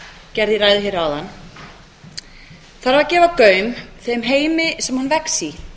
gerði í ræðu hér áðan þarf að gefa gaum þeim heimi sem hann vex í